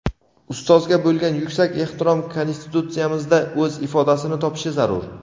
Ustozga bo‘lgan yuksak ehtirom Konstitutsiyamizda o‘z ifodasini topishi zarur.